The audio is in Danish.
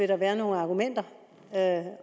der være nogle argumenter